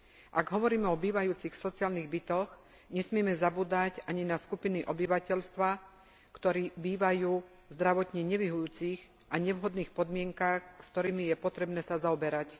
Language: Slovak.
Ak hovoríme o bývajúcich v sociálnych bytoch, nesmieme zabúdať ani na skupiny obyvateľstva, ktoré bývajú v zdravotne nevyhovujúcich a nevhodných podmienkach, s ktorými je potrebné sa zaoberať.